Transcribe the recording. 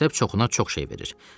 Məktəb çoxuna çox şey verir.